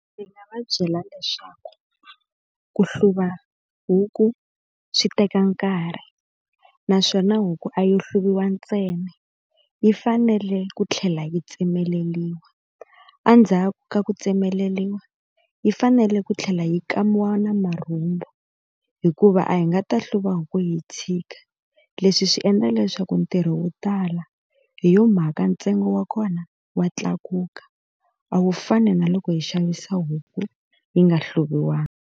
Ndzi nga va byela leswaku ku hluva huku swi teka nkarhi. Naswona huku a yo hluviwa ntsena, yi fanele ku tlhela yi tsemeleriwa, endzhaku ka ku tsemeleriwa yi fanele ku tlhela yi kamiwa na marhumbu. Hikuva a hi nga ta hluva huku hi yi tshika, leswi swi endla leswaku ntirho wo tala. Hi yona mhaka ntsengo wa kona wa tlakuka, a wu fani na loko hi xavisa huku yi nga hluviwanga.